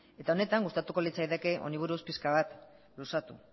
eta honetan gustatuko litzaidake honi buruz pixka bat luzatu